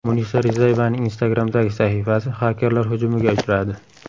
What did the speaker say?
Munisa Rizayevaning Instagram’dagi sahifasi xakerlar hujumiga uchradi.